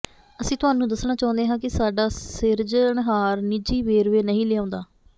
ਅਸੀਂ ਤੁਹਾਨੂੰ ਦੱਸਣਾ ਚਾਹੁੰਦੇ ਹਾਂ ਕਿ ਸਾਡਾ ਸਿਰਜ ਣਹਾਰ ਨਿੱਜੀ ਵੇਰਵੇ ਨਹੀਂ ਲਿਆਉਂਦਾ